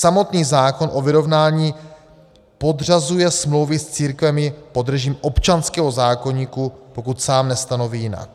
Samotný zákon o vyrovnání podřazuje smlouvy s církvemi pod režim občanského zákoníku, pokud sám nestanoví jinak.